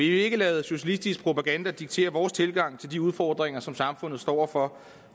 ikke lade socialistisk propaganda diktere vores tilgang til de udfordringer som samfundet står over for